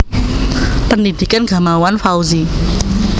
Pendhidhikan Gamawan Fauzi